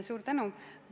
Suur tänu!